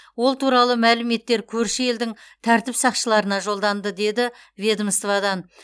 ол туралы мәліметтер көрші елдің тәртіп сақшыларына жолданды дейді ведомстводан